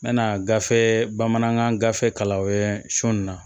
N bɛna gafe bamanankan gafe kalankɛ sɔ nin na